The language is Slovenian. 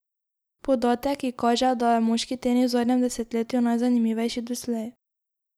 Podatek, ki kaže, da je moški tenis v zadnjem desetletju najzanimivejši doslej.